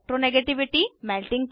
electronegativity 2